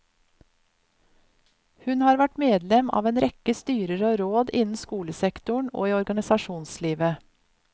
Hun har vært medlem av en rekke styrer og råd innen skolesektoren og i organisasjonslivet.